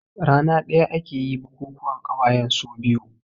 Rana ɗaya aka yi bukukuwan ƙawayen su biyu